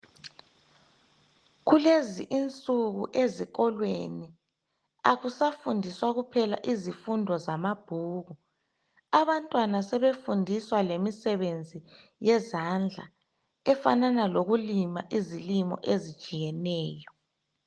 Kulezi insuku ezikolweni akusafundiswa kuphela izifundo zamabhuku. Abantwana sebefundiswa lemisebenzi yezandla efanana lokulima izilimo ezitshiyeneyo.